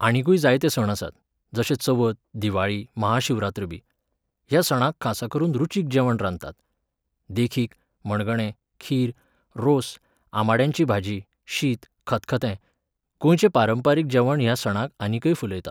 आनिकूय जायते सण आसात, जशे चवथ, दिवाळी, महाशिवरात्र बी. ह्या सणांक खासा करून रुचीक जेवण रांदतात. देखीक, मणगणें, खीर, रोस, आमाड्यांची भाजी, शीत, खतखतें. गोंयचें पारंपारीक जेवण ह्या सणाक आनीकय फुलयता.